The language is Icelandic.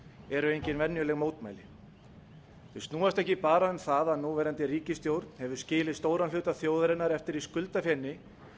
eru engin venjuleg mótmæli þau snúast ekki bara um það að núverandi ríkisstjórn hefur skilið stóran hluta þjóðarinnar eftir í skuldafeni